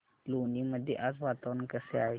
लोणी मध्ये आज वातावरण कसे आहे